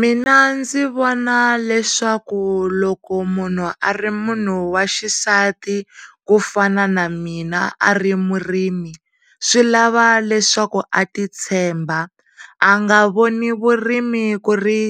Mina ndzi vona leswaku loko munhu a ri munhu wa xisati ku fana na mina a ri murimi swi lava leswaku a ti tshemba a nga voni vurimi ku ri